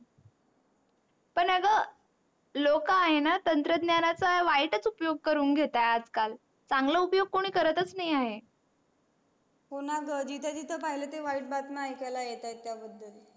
लोक आहेणा तंत्रज्ञानाचा वाईटच उपयोग करून घेततात. आज काल चांगला उपयोग कोणी करतच नाही आहे. हो णा ग जिथे जिथे पाहिल ते वाईट बातम्या आयकाला येत आहे. त्या बदल